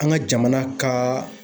An ka jamana ka